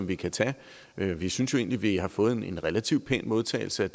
vi kan tage vi synes jo egentlig har fået en relativt pæn modtagelse